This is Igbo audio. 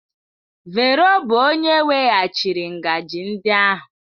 Vero bụ onye weghachiri ngaji ndị ahụ.